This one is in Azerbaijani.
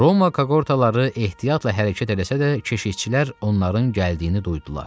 Roma kaqortaları ehtiyatla hərəkət eləsə də keşikçilər onların gəldiyini duydular.